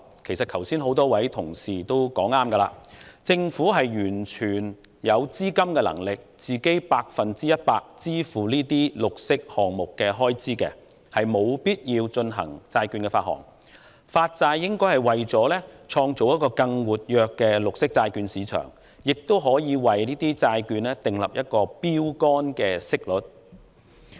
其實，剛才不少議員也說得對，政府是完全有能力全數承擔這些綠色項目的資金開支，沒有必要發行債券，因此發債大概是為了創造更活躍的綠色債券市場，並就債券訂立標桿息率。